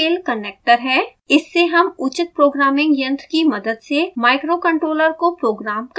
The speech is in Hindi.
इससे हम उचित प्रोग्रामिंग यंत्र की मदद से microcontroller को रोग्राम कर सकते हैं